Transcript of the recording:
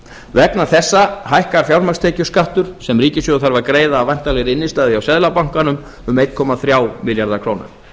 vegna þessa hækkar fjármagnstekjuskattur sem ríkissjóður þarf að greiða af væntanlegri innstæðu hjá seðlabankanum um einn komma þrjá milljarða króna